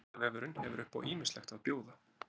Vísindavefurinn hefur upp á ýmislegt að bjóða.